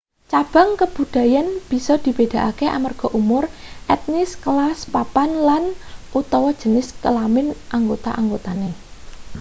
cabang kabudayan bisa dibedakake amarga umur etnis kelas papan lan/utawa jenis kelamin anggota-anggotane